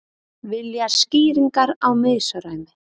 Vilja skýringar á misræmi